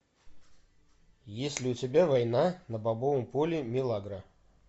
есть ли у тебя война на бобовом поле милагро